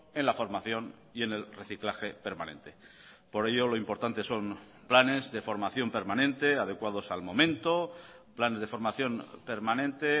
en la formación y en el reciclaje permanente por ello lo importante son planes de formación permanente adecuados al momento planes de formación permanente